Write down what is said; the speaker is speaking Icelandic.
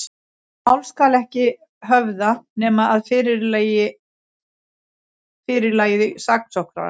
Mál skal ekki höfða, nema að fyrirlagi saksóknara.